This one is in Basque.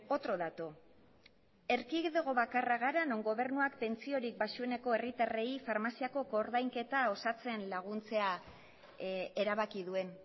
otro dato erkidego bakarra gara non gobernuak pentsiorik baxueneko herritarrei farmaziako koordainketa osatzen laguntzea erabaki duen